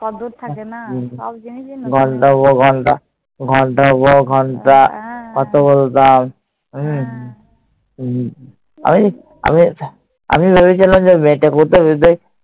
কদর থাকে না। ঘণ্টার পর ঘণ্টা কথা বলতাম। হম আমি, আমি আমি ভেবেছিলাম যে